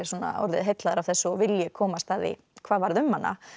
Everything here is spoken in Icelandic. orðið heillaður af þessu og vilji komast að því hvað varð um hana